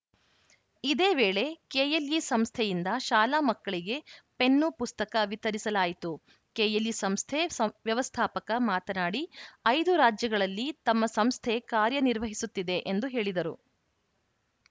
ಇದೇ ವೇಳೆ ಕೆಎಲ್‌ಇ ಸಂಸ್ಥೆಯಿಂದ ಶಾಲಾ ಮಕ್ಕಳಿಗೆ ಪೆನ್ನು ಪುಸ್ತಕ ವಿತರಿಸಲಾಯಿತು ಕೆಎಲ್‌ಇ ಸಂಸ್ಥೆ ವ್ಯವಸ್ಥಾಪಕ ಮಾತನಾಡಿ ಐದು ರಾಜ್ಯಗಳಲ್ಲಿ ತಮ್ಮ ಸಂಸ್ಥೆ ಕಾರ್ಯ ನಿರ್ವಹಿಸುತ್ತಿದೆ ಎಂದು ಹೇಳಿದರು